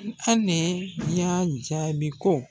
Hali ni yan jaabi ko